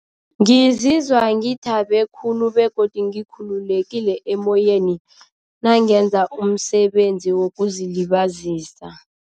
Ngizizwa ngithabe khulu begodu ngikhululekile emoyeni nangenza umsebenzi wokuzilibazisa.